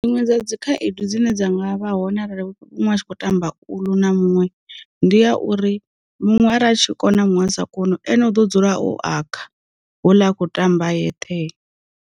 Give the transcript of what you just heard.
Dziṅwe dza dzi khaedu dzine dza vha hone arali munwe atshi kho tamba ulu na muṅwe, ndi ya uri muṅwe a tshi kona muṅwe a sa koni u ane u ḓo dzula o akha ho ḽa akho ṱamba a yeṱhe.